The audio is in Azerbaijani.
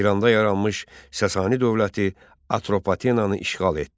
İranda yaranmış Sasanı dövləti Atropatenanı işğal etdi.